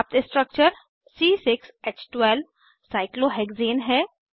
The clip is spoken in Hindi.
प्राप्त स्ट्रक्चर साइक्लोहेक्सेन साइक्लोहेक्ज़ेन है